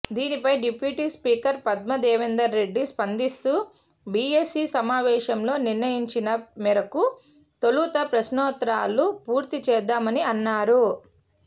దీనిపై deputy speaker Padma Devender Reddy స్పందిస్తూ BAC సమావేశంలో నిర్ణయించిన మేరకు తొలుత ప్రశ్నోత్తరాలు పూర్తి చేద్దామని అన్నారు